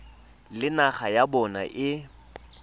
le naga ya bona e